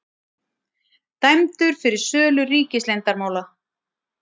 Dæmdur fyrir sölu ríkisleyndarmála